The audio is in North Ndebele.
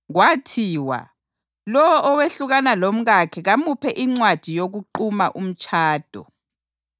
“Kwathiwa, ‘Lowo owehlukana lomkakhe kamuphe incwadi yokuquma umtshado.’ + 5.31 UDutheronomi 24.1